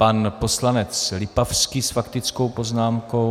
Pan poslanec Lipavský s faktickou poznámkou.